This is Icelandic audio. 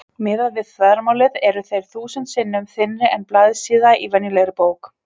Miðað við þvermálið eru þeir þúsund sinnum þynnri en blaðsíða í venjulegri bók.